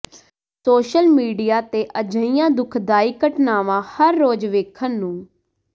social media ਤੇ ਅਜਿਹੀਆਂ ਦੁਖਦਾਇਕ ਘਟਨਾਵਾਂ ਹਰ ਰੋਜ ਵੇਖਣ ਨੂੰ